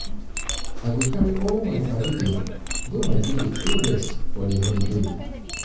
i go carry all um my paddy dem go my village um go rest for di holiday.